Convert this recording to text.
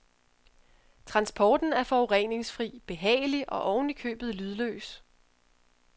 Transporten er forureningsfri, behagelig og ovenikøbet lydløs.